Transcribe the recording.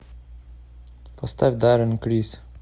поставь даррен крис